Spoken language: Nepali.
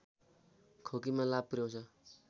खोकीमा लाभ पुर्‍याउँछ